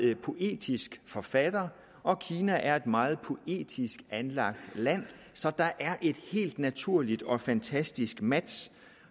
poetisk forfatter og kina er et meget poetisk anlagt land så der er et helt naturligt og fantastisk match